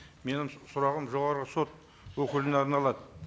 менің сұрағым жоғарғы сот өкіліне арналады